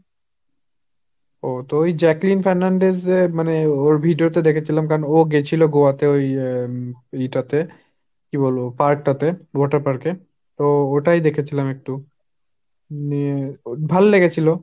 ও তো ওই Jacqueline Fernandez এর মানে ওর video তে দেখেছিলাম কারন ও গেছিল গোয়া তে ওই ইয়ে টা তে। কী বলব park টা তে, water park এ তো ওটাই দেখেছিলাম একটু। হম ভাললেগেছিল।